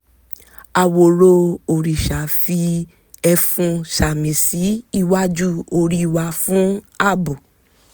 àwòrò òrìṣà fi ẹfun sàmì sí iwájú orí wa fún àbò